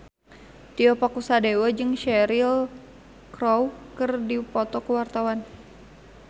Tio Pakusadewo jeung Cheryl Crow keur dipoto ku wartawan